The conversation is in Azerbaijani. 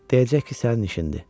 Deyəcək ki sənin işindir.